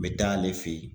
N bɛ taa ale fɛ yen